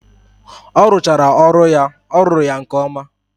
Orụchaara ọrụ ya ọ rụru ya nke oma.